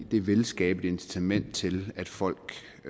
det vil skabe et incitament til at folk